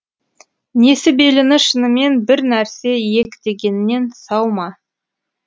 несіберіні шынымен бір нәрсе иектегеннен сау ма